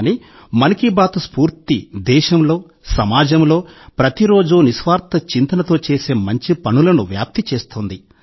కానీ 'మన్ కీ బాత్' స్ఫూర్తి దేశంలో సమాజంలో ప్రతిరోజూ నిస్వార్థ చింతనతో చేసే మంచి పనులను వ్యాప్తి చేస్తోంది